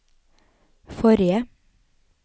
forrige